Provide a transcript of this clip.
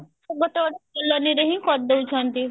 ଗୋଟେ ଗୋଟେ colony ରେ ହିଁ କରିଦେଇ ଛନ୍ତି